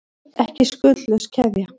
Ekki skuldlaus keðja